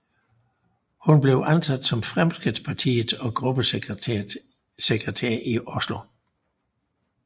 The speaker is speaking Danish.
Hun blev ansat som Fremskrittspartiets gruppesekretær i Oslo